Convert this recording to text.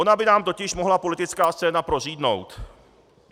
Ona by nám totiž mohla politická scéna prořídnout.